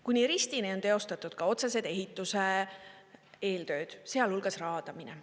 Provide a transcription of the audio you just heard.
Kuni ristini on teostatud otsesed ehituse eeltööd, sealhulgas raadamine.